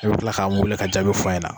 I bi kila ka an wele ka jaabi fɔ an ɲɛna.